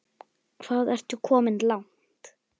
Hvað ertu komin langt?